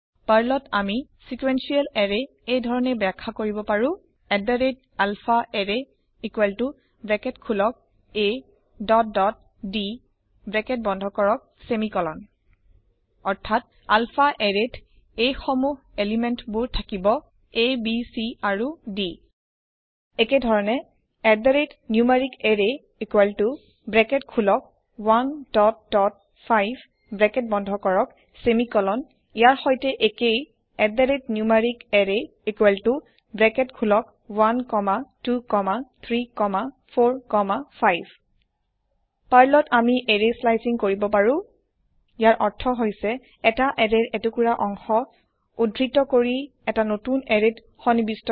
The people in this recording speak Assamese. পাৰ্লত আমি ছিকোয়েনশিয়েল এৰে এই ধৰণে বাখ্যা কৰিব পাৰো alphaArray ব্ৰেকেট খোলক a দত দত d ব্ৰেকেট বন্ধ কৰক চেমিকলন অৰ্থাৎ alphaArrayত এই সমূহ পদাৰ্থবোৰ থাকিব আ ব c আৰু d একেধৰণে numericArray ব্ৰেকেট খোলক 1 দত দত 5 ব্ৰেকেট বন্ধ কৰক চেমিকলন ইয়াৰ সৈতে একেয় numericArrayব্ৰেকেট খোলক 1 কমা 2 কমা 3 কমা 4 কমা 5 পাৰ্লত আমি এৰেয় স্লাইচিং কৰিব পাৰো ইয়াৰ অৰ্থ হৈছে এটা এৰেয়ৰ এটুকুৰা অংশ উদ্ধৃত কৰি এটা নতুন এৰেয়ত সন্নিৱিষ্ট কৰা